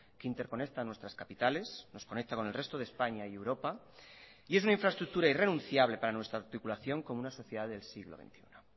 que interconecta nuestras capitales nos conecta con el resto de españa y europa y es una infraestructura irrenunciable para nuestra articulación como una sociedad del siglo veintiuno